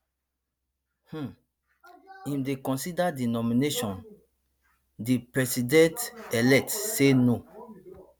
um im dey reconsider di nomination di presidentelect say no